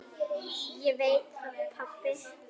Ég veit það pabbi.